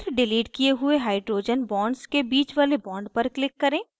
फिर डिलीट किये हुए hydrogen bonds के बीच वाले bond पर click करें